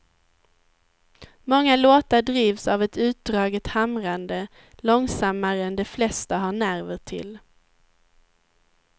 Många låtar drivs av ett utdraget hamrande, långsammare än de flesta har nerver till.